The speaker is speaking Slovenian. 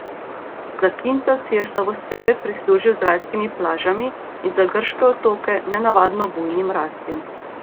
Zakintos si je slavospeve prislužil z rajskimi plažami in za grške otoke nenavadno bujnim rastjem.